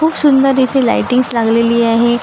खूप सुंदर इथे लाइटिंग्स लागलेली आहे.